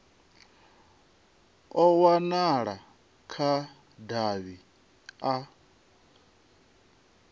a wanala kha davhi a